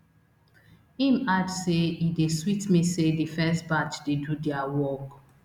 im add say e dey sweet me say di first batch dey do dia work